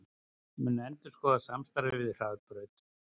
Mun endurskoða samstarfið við Hraðbraut